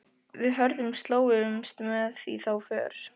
Við Hörður slógumst með í þá för.